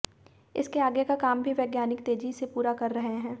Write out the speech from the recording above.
इसके आगे का काम भी वैज्ञानिक तेजी से पूरा कर रहे हैं